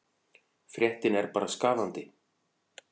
Fréttin er bara skaðandi.